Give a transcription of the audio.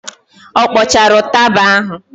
Ọ kpọchara ụtaba ahụ?